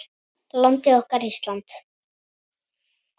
Landið okkar, Ísland.